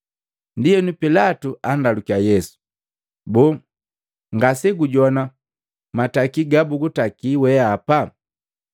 Ndienu pilatu andalukia Yesu, “Boo, ngasegujogwana matakilu gabugutakali weapa?”